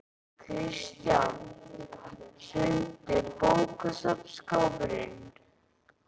Kristján: Hrundi bókaskápur niður?